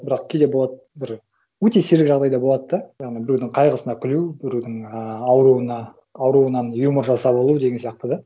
бірақ кейде болады бір өте сирек жағдайда болады да яғни біреудің қайғысына күлу біреудің ыыы ауруынан юмор жасап алу деген сияқты да